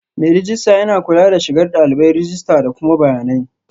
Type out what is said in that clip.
Mai rejista yana kula da shigar dalibai, rajista da kuma bayanan